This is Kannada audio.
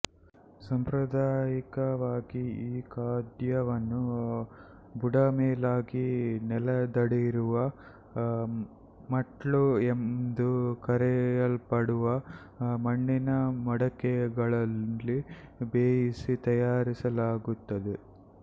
ಸಾಂಪ್ರದಾಯಿಕವಾಗಿ ಈ ಖಾದ್ಯವನ್ನು ಬುಡಮೇಲಾಗಿ ನೆಲದಡಿಯಿರುವ ಮಟ್ಲು ಎಂದು ಕರೆಯಲ್ಪಡುವ ಮಣ್ಣಿನ ಮಡಕೆಗಳಲ್ಲಿ ಬೇಯಿಸಿ ತಯಾರಿಸಲಾಗುತ್ತದೆ